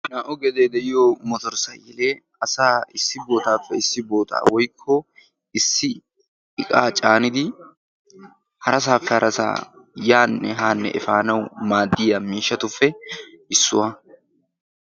Naa"u gedee de'iyoo motor sayikilee asaa issi bootaappe issi bootaa woykko issi iqaa caanidi harasaappe harasaa yaanne haanne efanawu maaddiyaa miishshatuppe issuwa.